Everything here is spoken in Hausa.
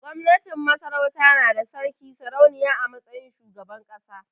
Gwamnatin Masarauta na da Sarki/Sarauniya a matsayin shugaban ƙasa.